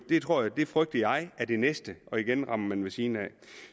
og det frygter jeg er det næste og igen rammer man ved siden af